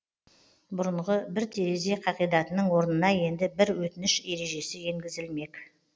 бұрынғы бір терезе қағидатының орнына енді бір өтініш ережесі енгізілмек